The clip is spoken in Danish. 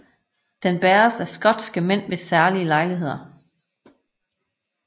Den bæres af skotske mænd ved særlige lejligheder